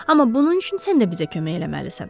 Amma bunun üçün sən də bizə kömək eləməlisən.